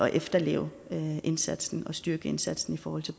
efterleve indsatsen og styrke indsatsen for